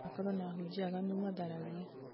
kwanakorwo na ahunjia aganu matharagia